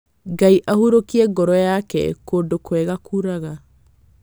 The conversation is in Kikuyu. Ngai ahurokie ngoro yake kũndũ kwega kuraga.